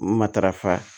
Matarafa